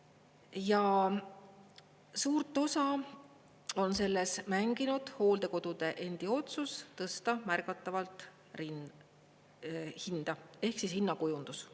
Ja suurt osa on selles mänginud hooldekodude endi otsus tõsta märgatavalt hinda ehk siis hinnakujundus.